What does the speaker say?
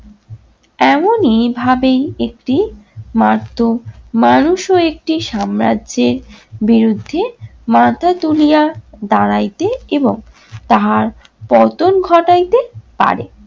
এমনই ভাবেই একটি মার্ত, মানুষও একটি সাম্রাজ্যের বিরুদ্ধে মাথা তুলিয়া দাঁড়াইতে এবং তাহার পতন ঘটাইতে পারে।